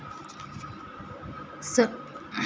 सॉलोमनी घराणे हे इथिओपियावर राज्य करणारे राजघराणे होते.